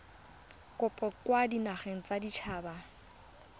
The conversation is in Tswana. kopo kwa dinageng tsa baditshaba